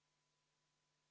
Suur tänu, härra eesistuja!